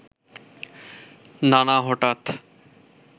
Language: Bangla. নানা হঠাৎ